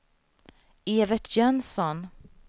Evert Jönsson